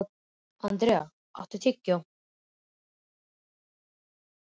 André, áttu tyggjó?